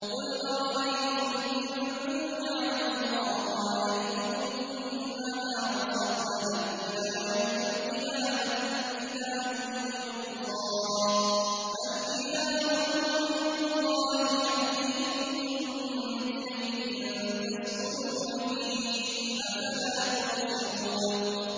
قُلْ أَرَأَيْتُمْ إِن جَعَلَ اللَّهُ عَلَيْكُمُ النَّهَارَ سَرْمَدًا إِلَىٰ يَوْمِ الْقِيَامَةِ مَنْ إِلَٰهٌ غَيْرُ اللَّهِ يَأْتِيكُم بِلَيْلٍ تَسْكُنُونَ فِيهِ ۖ أَفَلَا تُبْصِرُونَ